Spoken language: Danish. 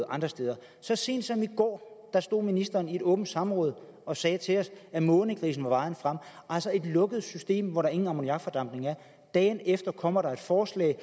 andre steder så sent som i går stod ministeren i et åbent samråd og sagde til os at månegrisen var vejen frem altså et lukket system hvor der ingen ammoniakfordampning er dagen efter kommer der et forslag